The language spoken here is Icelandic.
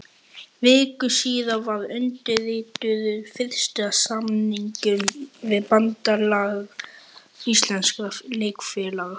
Viku síðar var undirritaður fyrsti samningur við Bandalag íslenskra leikfélaga.